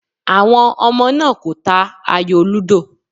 Àwọn ọmọ náà kò ta ayò lúdò.